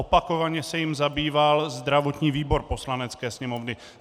Opakovaně se jím zabýval zdravotní výbor Poslanecké sněmovny.